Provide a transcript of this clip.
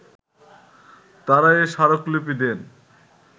তারা এ স্মারকলিপি দেন